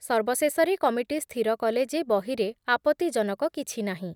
ସର୍ବଶେଷରେ କମିଟି ସ୍ଥିର କଲେ ଯେ ବହିରେ ଆପତ୍ତିଜନକ କିଛି ନାହିଁ ।